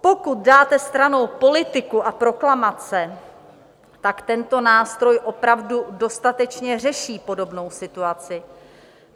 Pokud dáte stranou politiku a proklamace, tak tento nástroj opravdu dostatečně řeší podobnou situaci.